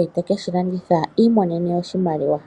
ete keshilanditha i imonene oshimaliwa.